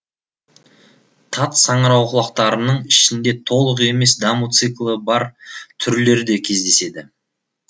тат саңырауқұлақтарының ішінде толық емес даму циклі бар түрлер де кездеседі